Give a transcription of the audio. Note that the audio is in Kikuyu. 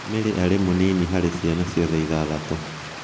Mary arĩ mũnini harĩ ciana ciothe ithathatũ.